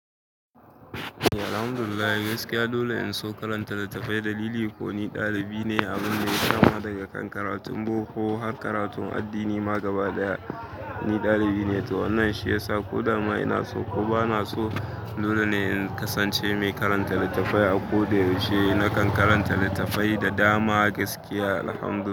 Alhamdulillah gaskiya dole in so karanta littafai. Dalili ko ni ɗalibi ne a wurin da ya kama daga kan karatun boko har karatun addini ma gaba ɗaya ni ɗalibi ne. To wannan shi ya sa ko da ma ina so ko ba na so dole ne in kasance mai karanta littafai. A ko da yaushe na kan karanta littafai da dama gaskiya Alhamdulillah.